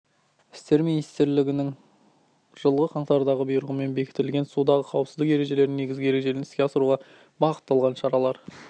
істер министрлігінің жылғы қаңтардағы бұйрығымен бекітілген судағы қауіпсіздік ережелерінің негізгі ережелерін іске асыруға бағытталған шаралар